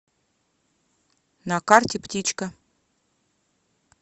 на карте птичка